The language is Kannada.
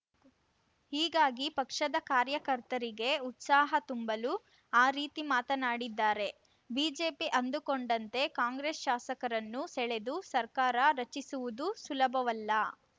ಹೀಗಾಗಿ ಪಕ್ಷದ ಕಾರ್ಯಕರ್ತರಿಗೆ ಉತ್ಸಾಹ ತುಂಬಲು ಆ ರೀತಿ ಮಾತನಾಡಿದ್ದಾರೆ ಬಿಜೆಪಿ ಅಂದುಕೊಂಡಂತೆ ಕಾಂಗ್ರೆಸ್‌ ಶಾಸಕರನ್ನು ಸೆಳೆದು ಸರ್ಕಾರ ರಚಿಸುವುದು ಸುಲಭವಲ್ಲ